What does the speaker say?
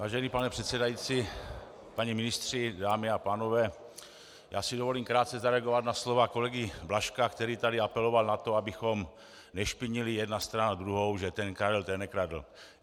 Vážený pane předsedající, páni ministři, dámy a pánové, já si dovolím krátce zareagovat na slova kolegy Blažka, který tady apeloval na to, abychom nešpinili jedna strana druhou, že ten Karel, ten nekradl.